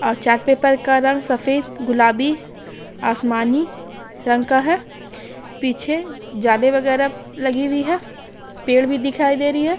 और chart paper का रंग सफेद गुलाबी आसमानी रंग का हैं पीछे जाले वग़ैरा लगी हुई हैं पेड़ भी दिखाई दे रही हैं।